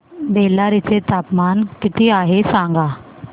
बेल्लारी चे तापमान किती आहे सांगा